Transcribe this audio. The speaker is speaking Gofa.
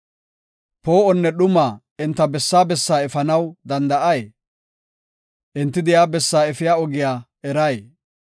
Poo7onne dhuma enta bessaa bessaa efanaw danda7ay? Enti de7iya bessaa efiya ogiya eray?